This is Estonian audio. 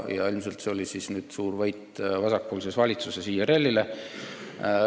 Ilmselt see oli nüüd siis suur võit vasakpoolses valitsuses olevale IRL-ile.